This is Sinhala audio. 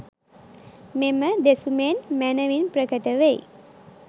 මෙම දෙසුමෙන් මැනැවින් ප්‍රකට වෙයි.